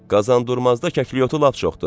Qazandurmazda kəklikyotu lap çoxdur.